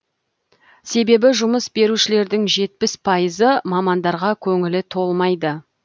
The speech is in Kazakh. себебі жұмыс берушілердің жетпіс пайызы мамандарға көңілі толмайды